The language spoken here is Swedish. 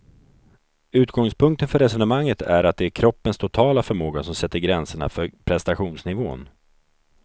Utgångspunkten för resonemanget är att det är kroppens totala förmåga som sätter gränserna för prestationsnivån.